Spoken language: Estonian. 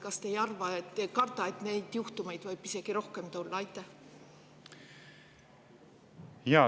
Kas te ei karda, et neid juhtumeid võib isegi rohkem tulla?